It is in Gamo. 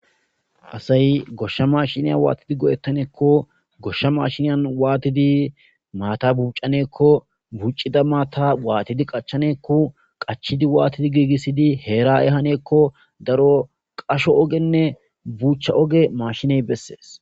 asay goshsha mashiniyan waatidi go7ettaneekko goshsha mashiniyan waatidi maata buucaneekko buccida maata waatidi qachaneekko qachidi waatidi giigissidi heera7e haneekko daro qasho ogenne buuchcha oge mashiney bessees